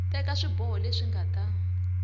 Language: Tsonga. teka swiboho leswi nga ta